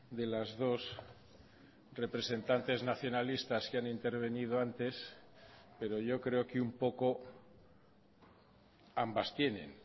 de las dos representantes nacionalistas que han intervenido antes pero yo creo que un poco ambas tienen